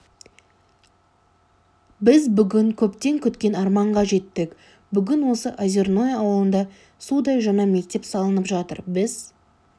біз бүгін көптен күткен арманға жеттік бүгін осы озерное ауылында судай жаңа мектеп салынып жатыр біз